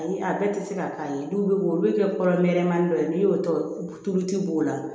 Ayi a bɛɛ tɛ se ka k'a ye dɔw bɛ olu kɛ kɔrɔnmani dɔ ye n'i y'o tɔ tulu ci b'o la